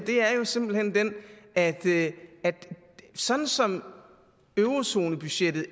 er simpelt hen den at sådan som eurozonebudgettet